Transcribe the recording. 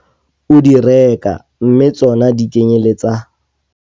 O di reka mme tsona di kenyelletsa.